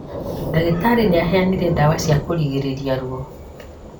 Ndagĩtarĩ nĩaheanire ndawa cia kũrigĩrĩria ruo